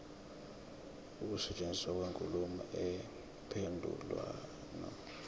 ukusetshenziswa kwenkulumo mpendulwano